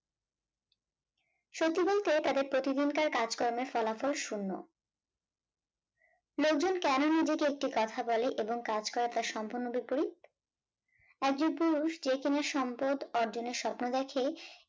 সত্যি বলতে তাদের প্রতিদিনকার কাজকর্মের ফলাফল শূন্য লোকজন কেন নিজেকে একটি কথা বলে এবং কাজ করে তার সম্পূর্ণ বিপরীত। আর যে পুরুষ যে কিনা সম্পদ অর্জনের স্বপ্ন দেখে